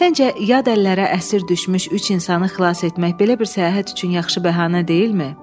Səncə yad əllərə əsir düşmüş üç insanı xilas etmək belə bir səyahət üçün yaxşı bəhanə deyilmi?